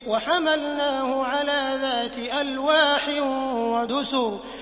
وَحَمَلْنَاهُ عَلَىٰ ذَاتِ أَلْوَاحٍ وَدُسُرٍ